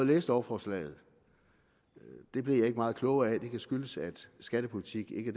læse lovforslaget men det blev jeg ikke meget klogere af det kan skyldes at skattepolitik ikke